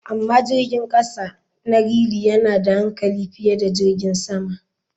Amma jirgin kasa na realy yana da hankali fiye da jirgin sama.